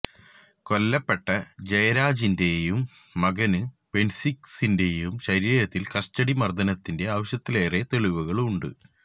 കൊല്ലപ്പെട്ട ജയരാജിന്റെയും മകന് ബെന്നിക്സിന്റെയും ശരീരത്തില് കസ്റ്റഡി മര്ദ്ദനത്തിന്റെ ആവശ്യത്തിലേറെ തെളിവുകളുണ്ട്